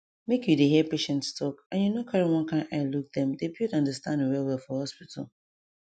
make you dey hear patients talk and you no carry one kind eye look dem dey build understanding well well for hospital